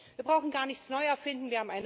Wir brauchen gar nichts neu zu erfinden.